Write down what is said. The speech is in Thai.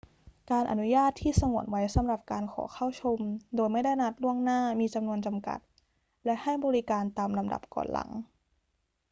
การอนุญาตที่สงวนไว้สำหรับการขอเข้าชมโดยไม่ได้นัดล่วงหน้ามีจำนวนจำกัด และให้บริการตามลำดับก่อนหลัง